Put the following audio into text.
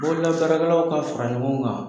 Bolobaarakɛlaw ka fara ɲɔgɔn kan.